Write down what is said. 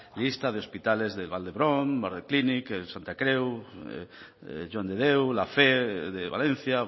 lista de hospitales como vall dhebron santa creu joan de déu la fe de valencia